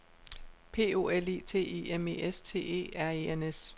P O L I T I M E S T E R E N S